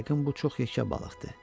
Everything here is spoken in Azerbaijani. Yəqin bu çox yekə balıqdır.